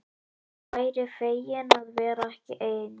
Væri fegin að vera ekki ein.